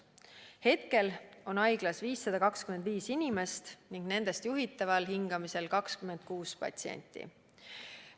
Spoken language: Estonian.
Praegu on haiglas 525 inimest ning nendest juhitaval hingamisel 26 patsienti.